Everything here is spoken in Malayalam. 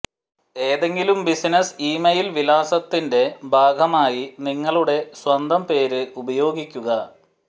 ഏതെങ്കിലും ബിസിനസ്സ് ഇമെയിൽ വിലാസത്തിന്റെ ഭാഗമായി നിങ്ങളുടെ സ്വന്തം പേര് ഉപയോഗിക്കുക